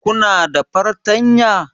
Kuna da fartanya?